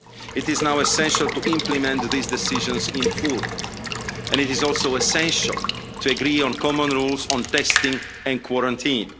It is now essential to implement these decisions in full and it is also essential to agree on common rules on testing and quarantine.